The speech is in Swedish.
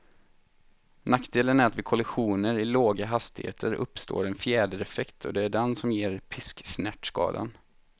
Nackdelen är att vid kollisioner i låga hastigheter uppstår en fjädereffekt, och det är den som ger pisksnärtskadan.